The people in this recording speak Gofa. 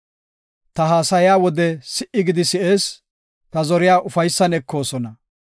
Ta haasaya wode si77i gidi si7ees; ta zoriya ufaysan ekoosona.